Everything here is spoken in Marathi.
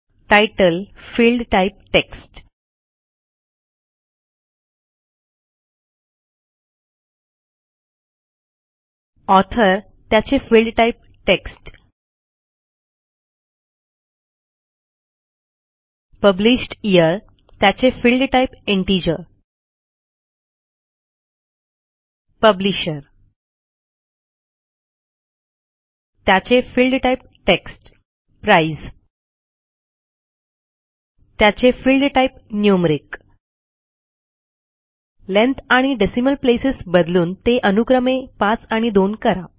तितले फील्ड टाइप टेक्स्ट ऑथर त्याचे field type text published year त्याचे फील्ड टाइप इंटिजर पब्लिशर त्याचे फील्ड टाइप टेक्स्ट प्राइस त्याचे फील्ड टाइप न्यूमेरिक लेंग्थ आणि डेसिमल प्लेसेस बदलून ते अनुक्रमे 5 आणि 2 करा